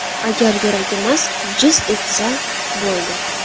Agar yuragim jiz etsa, bo‘ldi.